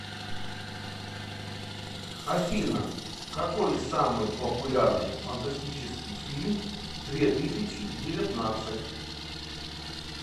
афина какой самый популярный фантастический фильм две тысячи девятнадцать